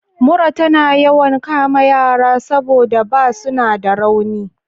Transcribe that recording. Mura tana yawan kama yara saboda ba suna da rauni.